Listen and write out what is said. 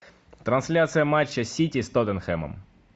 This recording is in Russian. трансляция матча сити с тоттенхэмом